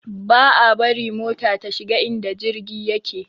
Ba a bari mota ta shiga inda jirgi yake